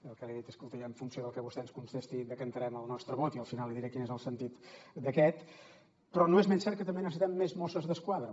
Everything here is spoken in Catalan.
el que li he dit és que escolti i en funció del que vostè ens contesti decantarem el nostre vot i al final li diré quin és el sentit d’aquest però no és menys cert que també necessitem més mosses d’esquadra